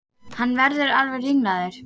Hann verður alveg ringlaður.